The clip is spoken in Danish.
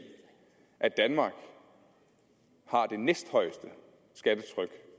at danmark har det næsthøjeste skattetryk